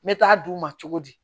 Me taa d'u ma cogo di